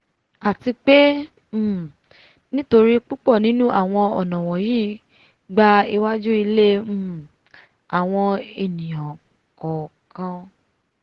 àti pé um nítorí púpọ̀ nínú awọ̀n ọ̀nà wọ̀nyí gba iwajú ilé um àwọn ènìà kọká